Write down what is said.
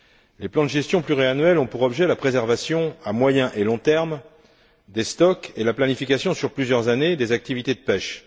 Les plans de gestion pluriannuels ont pour objet la préservation à moyen et long terme des stocks et la planification sur plusieurs années des activités de pêche.